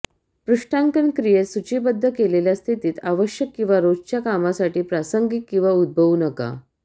पृष्ठांकन क्रियेत सूचीबद्ध केलेल्या स्थितीत आवश्यक किंवा रोजच्या कामासाठी प्रासंगिक किंवा उद्भवू नका